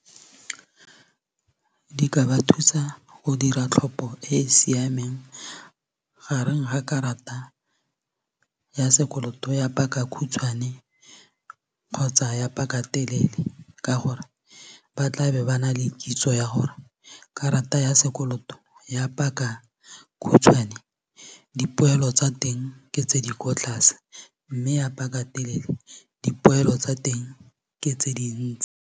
Di ka ba thusa go dira tlhopo e e siameng gareng ga karata ya sekoloto ya pakakhutshwane kgotsa ya pakatelele ka gore ba tlabe ba na le kitso ya gore karata ya sekoloto ya pakakhutshwane dipoelo tsa teng ke tse di ko tlase mme ya pakatelele dipoelo tsa teng ke tse di ntsi.